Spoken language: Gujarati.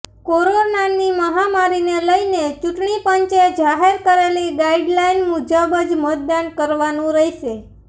કોરોનાની મહામારીને લઈને ચૂંટણી પંચે જાહેર કરેલી ગાઈડલાઈન મુજબ જ મતદાન કરવાનું રહેશે